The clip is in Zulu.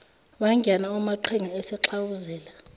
wangena umaqhinga esegxawuzela